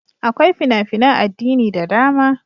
Akwai fina-finan addini da dama.